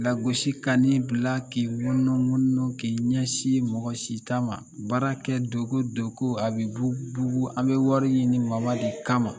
Lagosi ka ni bila k'i munumunu k'i ɲɛsin mɔgɔ si ta ma, baara kɛ dogo dogo, a bi bugu bugu, an bi wari ɲini de kama.